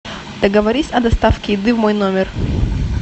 договорись о доставке еды в мой номер